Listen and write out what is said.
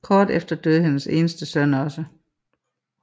Kort efter døde hendes eneste søn også